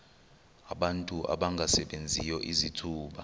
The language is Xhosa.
abantu abangasebenziyo izithuba